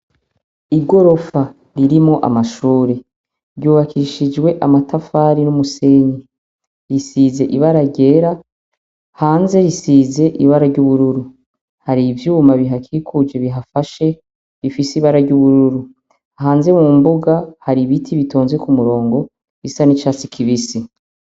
Igorofa ririmwo amashuri ryubakishijwe amatafari n'umusenyi risize ibara ryera hanze risize ibara ry'ubururu hari ivyuma bihakikuje bihafashe bifise ibara ry'ubururu hanze mu mbuga hari ibiti bitonze ku murongo bisa n'icatsi kibisi.